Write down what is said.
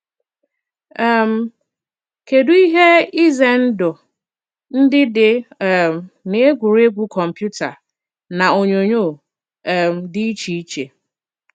um Kedụ ihe ize ndụ ndị dị um n’egwuregwu kọmputa na onyonyo um dị iche iche?